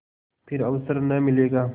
फिर अवसर न मिलेगा